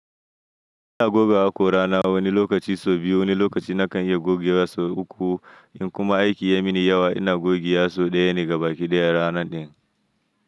Ina goga haƙora na wani lokaci so biyu, wani lokaci na kan iya goge wa so uku. In kuma aiki ya mini yawa ina goge wa so ɗaya ne gaba ki ɗaya ranar din.